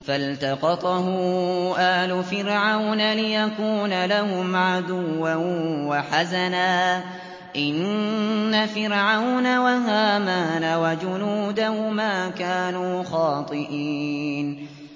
فَالْتَقَطَهُ آلُ فِرْعَوْنَ لِيَكُونَ لَهُمْ عَدُوًّا وَحَزَنًا ۗ إِنَّ فِرْعَوْنَ وَهَامَانَ وَجُنُودَهُمَا كَانُوا خَاطِئِينَ